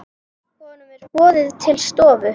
Honum er boðið til stofu.